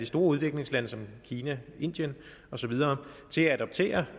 store udviklingslande som kina og indien og så videre til at adoptere